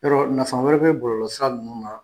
Yɔrɔ nafa wɛrɛ bɛ bɔlɔlɔsira ninnu wa?